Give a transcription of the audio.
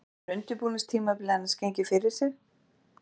Hvernig hefur undirbúningstímabilið annars gengið fyrir sig?